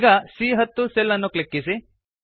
ಈಗ ಸಿಎ10 ಸೆಲ್ ಅನ್ನು ಕ್ಲಿಕ್ಕಿಸಿ